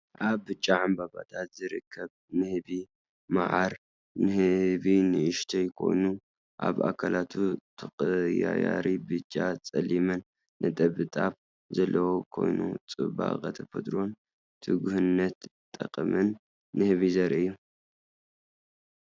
ኣብ ብጫ ዕምባባታት ዝርከብ ንህቢ መዓር። ንህቢ ንእሽቶ ኮይኑ፡ ኣብ ኣካላቱ ተቐያያሪ ብጫን ጸሊምን ነጠብጣብ ዘለዎ ኮይኑ፡ ጽባቐ ተፈጥሮን ትጉህነትን ጠቕምን ንህቢ ዘርኢ እዩ።